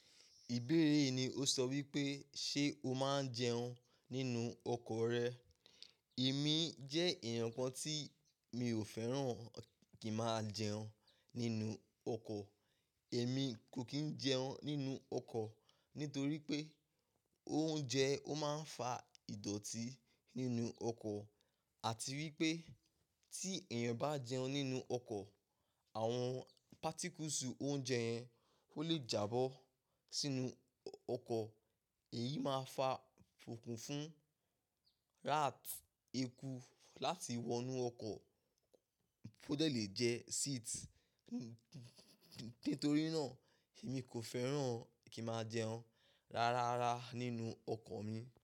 Ìbéèrè yìí ni ó sọ wípé, ṣe ó máa ń jẹun nínú ọkọ̀ rẹ? Èmi jẹ èèyàn kan tí mi ò fẹ́ràn kí n máa jẹun nínú ọkọ̀. Èmi kò kí ń jẹun nínú ọkọ̀ nítorí pé oúnjẹ ó máa ń fa ìdọ̀tí nínú ọkọ̀ àti wípé tí èèyàn bá jẹun nínú ọkọ̀, awon particles oúnjẹ yẹn ó lè jábọ́ sínú ọkọ̀. Èyí máa fa okùn fún rát, eku láti wọnú ọkọ̀ ó de lè jẹ seat. Nítorí náà, èmi kò fẹ́ràn kí máa jẹun rárára nínú ọkọ̀ mi.